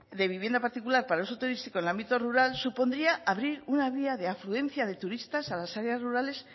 de vivienda particular para uso turístico en el ámbito rural supondría abrir una vía de afluencia de turistas a las áreas rurales